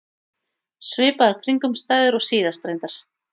Svipaðar kringumstæður og síðast, reyndar.